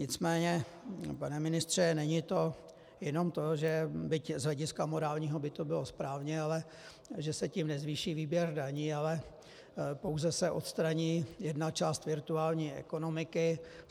Nicméně, pane ministře, není to jenom to, že byť z hlediska morálního by to bylo správně, ale že se tím nezvýší výběr daní, ale pouze se odstraní jedna část virtuální ekonomiky.